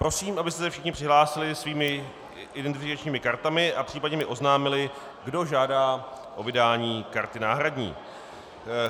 Prosím, abyste se všichni přihlásili svými identifikačními kartami a případně mi oznámili, kdo žádá o vydání karty náhradní.